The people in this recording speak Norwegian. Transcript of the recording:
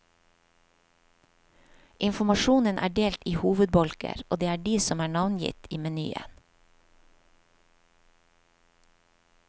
Informasjonen er delt i hovedbolker, og det er de som er navngitt i menyen.